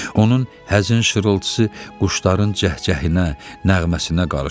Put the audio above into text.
Onun həzin şırıltısı quşların cəhcəhinə, nəğməsinə qarışdı.